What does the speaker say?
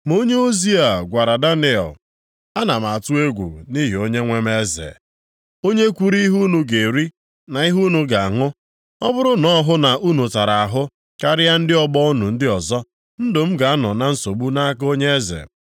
Ma onyeozi a gwara Daniel, “Ana m atụ egwu nʼihi onyenwe m eze, onye kwuru ihe unu ga-eri na ihe unu ga-aṅụ. Ọ bụrụ na ọ hụ na unu tara ahụ karịa ndị ọgbọ unu ndị ọzọ, ndụ m ga-anọ na nsogbu nʼaka onye eze.”